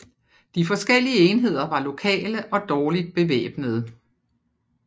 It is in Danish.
De forskellige enheder var lokale og dårligt bevæbnede